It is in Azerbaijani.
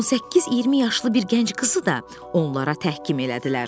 18-20 yaşlı bir gənc qızı da onlara təhkim elədilər.